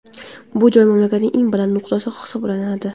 Bu joy mamlakatning eng baland nuqtasi hisoblanadi.